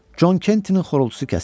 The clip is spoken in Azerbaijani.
Con Kentinin xorultusu kəsildi.